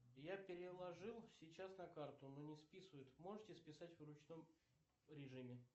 я переложил сейчас на карту но не списывают можете списать в ручном режиме